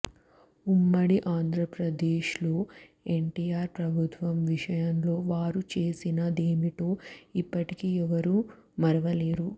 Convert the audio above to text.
ఉమ్మడి ఆంధ్రప్రదేశ్లో ఎన్టిఆర్ ప్రభుత్వం విషయంలో వారు చేసిన దేమిటో ఇప్పటికీ ఎవరూ మరవలేదు